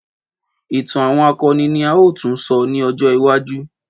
Ìtàn àwọn akọni ni a ó tún sọ ní ọjọ́ iwájú